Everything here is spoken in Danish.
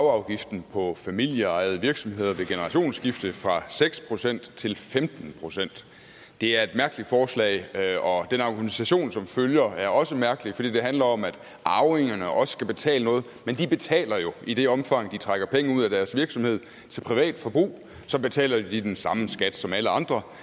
arveafgiften for familieejede virksomheder ved generationsskifte fra seks procent til femten procent det er et mærkeligt forslag og den argumentation som følger er også mærkelig for den handler om at arvingerne også skal betale noget men de betaler jo i det omfang de trækker penge ud af deres virksomhed til privat forbrug så betaler de den samme skat som alle andre